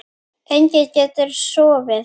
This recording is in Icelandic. Enginn getur sofið.